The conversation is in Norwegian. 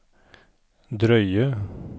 drøye